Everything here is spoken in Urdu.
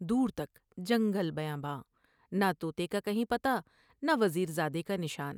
دور تک جنگل بیاباں ، نہ تو نے کا کہیں پتہ نہ وز میں زادے کا نشان ۔